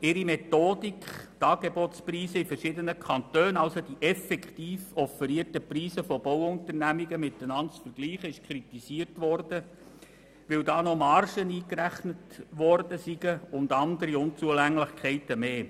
Ihre Methodik, die Angebotspreise von Bauunternehmen in verschiedenen Kantonen miteinander zu vergleichen, wurde kritisiert, weil da noch Margen eingerechnet worden seien, und andere Unzulänglichkeiten mehr.